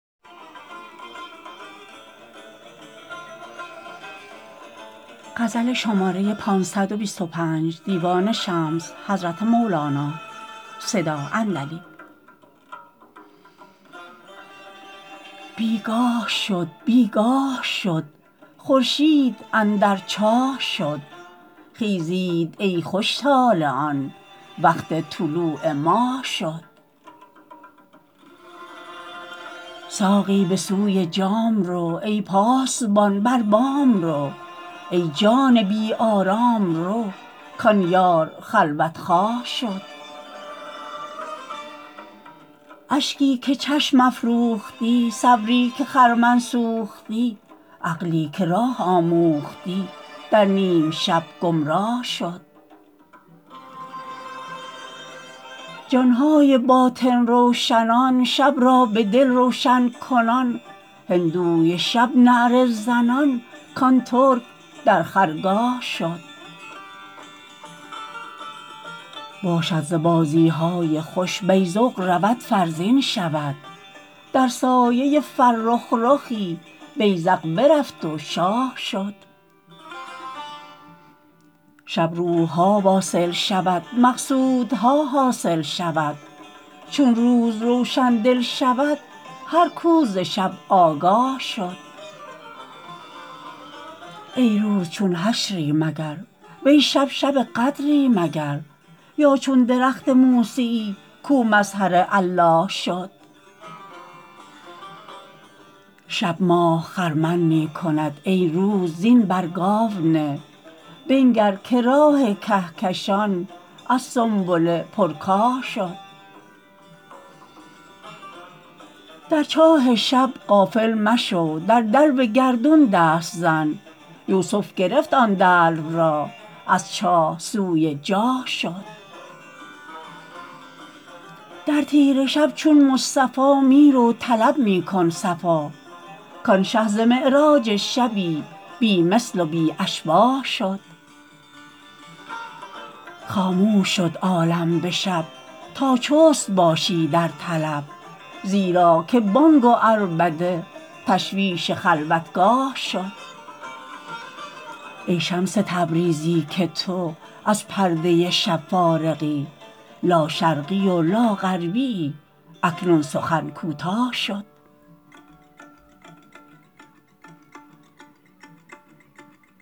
بی گاه شد بی گاه شد خورشید اندر چاه شد خیزید ای خوش طالعان وقت طلوع ماه شد ساقی به سوی جام رو ای پاسبان بر بام رو ای جان بی آرام رو کان یار خلوت خواه شد اشکی که چشم افروختی صبری که خرمن سوختی عقلی که راه آموختی در نیم شب گمراه شد جان های باطن روشنان شب را به دل روشن کنان هندوی شب نعره زنان کان ترک در خرگاه شد باشد ز بازی های خوش بیذق رود فرزین شود در سایه فرخ رخی بیذق برفت و شاه شد شب روح ها واصل شود مقصودها حاصل شود چون روز روشن دل شود هر کو ز شب آگاه شد ای روز چون حشری مگر وی شب شب قدری مگر یا چون درخت موسیی کو مظهر الله شد شب ماه خرمن می کند ای روز زین بر گاو نه بنگر که راه کهکشان از سنبله پرکاه شد در چاه شب غافل مشو در دلو گردون دست زن یوسف گرفت آن دلو را از چاه سوی جاه شد در تیره شب چون مصطفی می رو طلب می کن صفا کان شه ز معراج شبی بی مثل و بی اشباه شد خاموش شد عالم به شب تا چست باشی در طلب زیرا که بانگ و عربده تشویش خلوتگاه شد ای شمس تبریزی که تو از پرده شب فارغی لاشرقی و لاغربیی اکنون سخن کوتاه شد